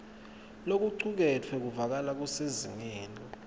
lokucuketfwe kuvakala kusezingeni